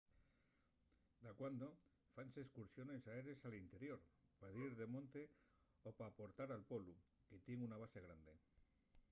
dacuando fáense escursiones aérees al interior pa dir de monte o p’aportar al polu que tien una base grande